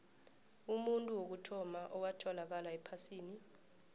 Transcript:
umuntu wokuthoma owatholakala ephasini